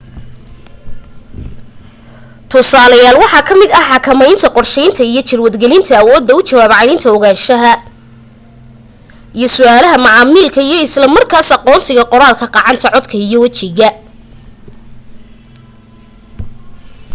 tusaaleyaal waxaa ka mid ah xakamaynta qorsheynta iyo jadwal gelinta awooda u jawaab celinta ogaanshaha iyo su'aalaha macaamilka iyo isla markaas aqoonsiga qoraalka gacant codka iyo wajiga